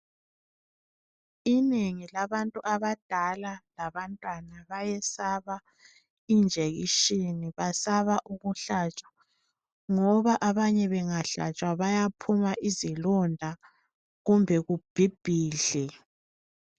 Inengi labantu abadala labantwana bayayesaba ijekitshini basaba ukuhlatshwa ngoba abanye bengahlatshwa bayaphuma izilonda kumbe kubhibhidle.